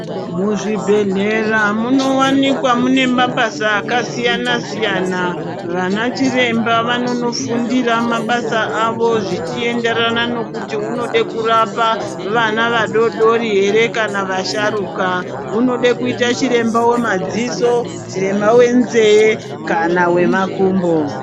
Mu zvibhedhlera muno wanikwa mune mabasa aka siyana siyana vana chiremba vanono fundira mabasa avo zvichi enderana nokuti unode kurapa vana vadodori ere kana vasharuka unode kuita chiremba we madziso chiremba we nze kana we makumbo.